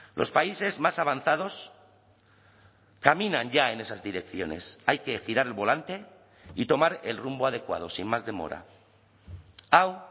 los países más avanzados caminan ya en esas direcciones hay que girar el volante y tomar el rumbo adecuado sin más demora hau